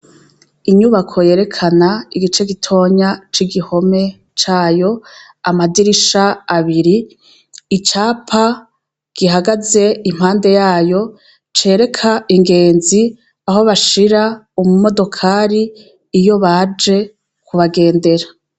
Inyubako yerekana igice gitonya c'igihome cayo amadirisha abiri icapa gihagaze impande yayo cereka ingenzi aho bashira umumodokari iyo baje ku bagendera.